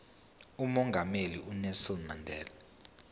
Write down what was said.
umongameli unelson mandela